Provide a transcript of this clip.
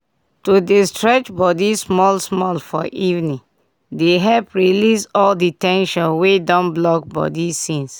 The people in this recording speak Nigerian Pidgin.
to dey stretch body small-small for evening dey help release all the ten sion wey don block body since.